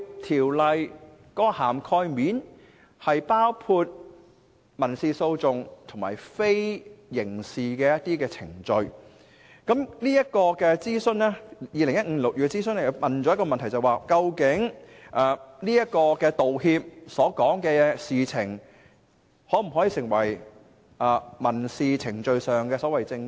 《條例草案》涵蓋了民事訴訟及非刑事程序，而在2015年進行諮詢期間提出的其中一條問題，正是道歉所涉及的事情可否成為民事程序中的證供。